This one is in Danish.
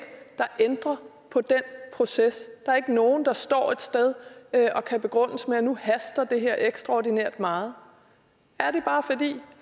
der ændrer på den proces der er ikke nogen der står et sted og kan begrundes med at nu haster det her ekstraordinært meget er det bare fordi